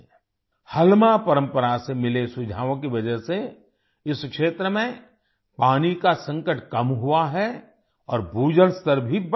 हलमा परम्परा से मिले सुझावों की वजह से इस क्षेत्र में पानी का संकट कम हुआ है और भूजल स्तर भी बढ़ रहा है